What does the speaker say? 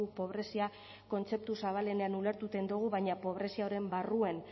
pobrezia kontzeptu zabalenean ulertuten dogu baina pobrezia horren barruen